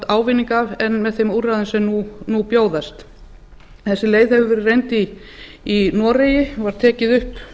ávinning af en með þeim úrræðum sem nú bjóðast þessi leið hefur verið reynd í noregi var tekin upp